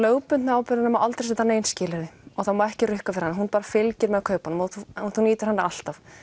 lögbundnu ábyrgðina má aldrei setja nein skilyrði og það má ekki rukka fyrir hana hún bara fylgir með kaupunum og þú nýtur hennar alltaf